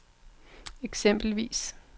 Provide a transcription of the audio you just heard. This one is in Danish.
eksempelvis